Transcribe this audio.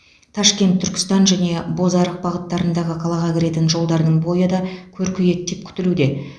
ташкент түркістан және бозарық бағыттарындағы қалаға кіретін жолдардың бойы да көркейеді деп күтілуде